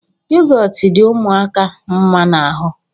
Yogọtu dị ụmụaka mma n'ahụ